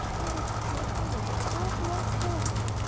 что в этом плохого что плохого